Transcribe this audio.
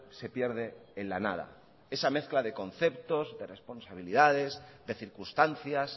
se pierde en la nada esa mezcla de conceptos de responsabilidades de circunstancias